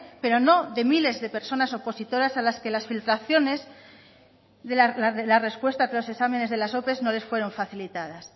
pero no de miles de personas opositoras a las que las filtraciones de las respuestas de los exámenes de las ope no les fueron facilitadas